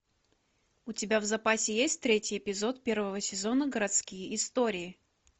у тебя в запасе есть третий эпизод первого сезона городские истории